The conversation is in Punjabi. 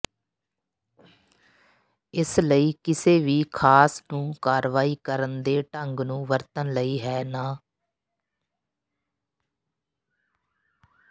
ਇਸ ਲਈ ਕਿਸੇ ਵੀ ਖਾਸ ਨੂੰ ਕਾਰਵਾਈ ਕਰਨ ਦੇ ਢੰਗ ਨੂੰ ਵਰਤਣ ਲਈ ਹੈ ਨਾ